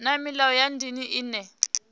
na milayo ya ndeme ine